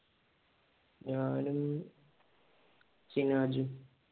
ഞാനും ഷിനാജ്തും